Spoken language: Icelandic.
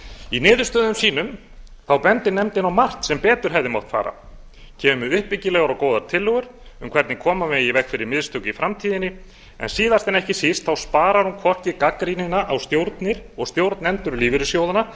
í niðurstöðum sínum endir nefndin á margt sem betur hefði mátt fara kemur með uppbyggilegar og góðar tillögur um hvernig koma megi í veg fyrir mistök í framtíðinni en síðast en ekki síst sparar hún hvorki gagnrýnina á stjórnir og stjórnendur lífeyrissjóðanna